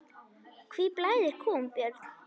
Hví blæðir kúm, Björn?